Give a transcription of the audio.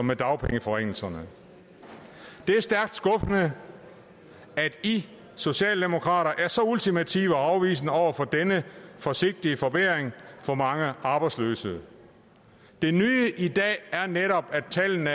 med dagpengeforringelserne det er stærkt skuffende at i socialdemokrater er så ultimative og afvisende over for denne forsigtige forbedring for mange arbejdsløse det nye i dag er netop at tallene